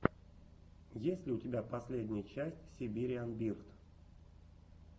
есть ли у тебя последняя часть сибириан бирд